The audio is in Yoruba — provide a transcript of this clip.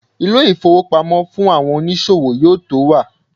ilé ifowópamọ́ fún àwọn onísòwò yíò to wa